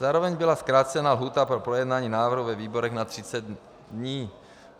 Zároveň byla zkrácena lhůta pro projednání návrhu ve výborech na 30 dní.